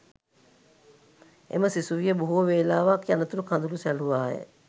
එම සිසුවිය බොහොවෙලාවක් යනතුරු කඳුළු සැලුවාය